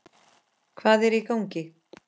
Hvað er í gangi?